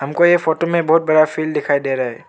हमको ये फोटो में बहुत बड़ा फील दिखाई दे रहा है।